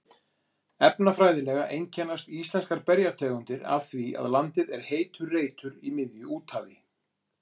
Efnafræðilega einkennast íslenskar bergtegundir af því að landið er heitur reitur í miðju úthafi.